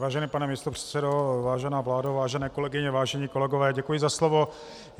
Vážený pane místopředsedo, vážená vládo, vážení kolegyně, vážení kolegové, děkuji za slovo.